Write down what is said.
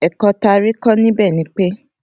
èkó tá a rí kó níbè ni pé